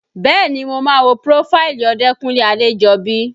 Bẹ́ẹ̀ni mo máa wo prófáìlì Odekunle Adejobi